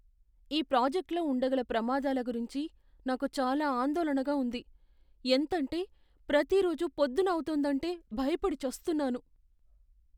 ఈ ప్రాజెక్ట్లో ఉండగల ప్రమాదాల గురించి నాకు చాలా ఆందోళనగా ఉంది, ఎంతంటే ప్రతిరోజు పొద్దున్న అవుతోందంటే భయపడి చస్తున్నాను.